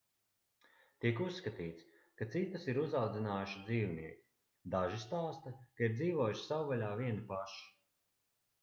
tiek uzskatīts ka citus ir uzaudzinājuši dzīvnieki daži stāsta ka ir dzīvojuši savvaļā vieni paši